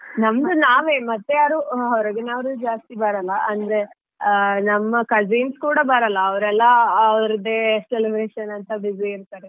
ನಮ್ದು ನಾವೇ ಮತ್ತೇ ಯಾರು ಹೊರಗಿನವ್ರು ಜಾಸ್ತಿ ಬರಲ್ಲಾ ಅಂದ್ರೆ ನಮ್ಮ cousins ಕೂಡ ಬರಲ್ಲಾ ಅವ್ರೆಲ್ಲಾ ಅವ್ರದೇ ಅಂತ busy ಇರ್ತಾರೆ.